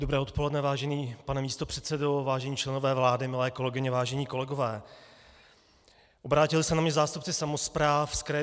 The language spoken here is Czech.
Dobré odpoledne, vážený pane místopředsedo, vážení členové vlády, milé kolegyně, vážení kolegové, obrátili se na mě zástupci samospráv z Kraje